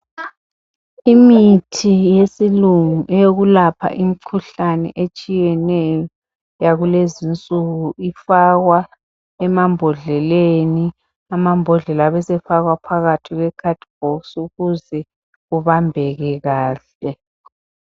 Imithi yesilungu eyokwelapha imikhuhlane ehlukeneyo yakulezi nsuku ifakwa embodleleni amambodlela afakwa phakathi kwekhathibhokisi ukuze kubbake kanhle